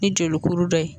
Ni joli kuru dɔ ye